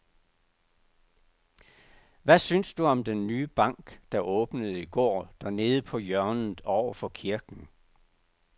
Hvad synes du om den nye bank, der åbnede i går dernede på hjørnet over for kirken?